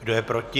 Kdo je proti?